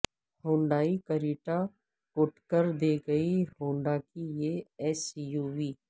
Hyundai Creta کوٹکر دے گی ہونڈا کی یہ ایس یو وی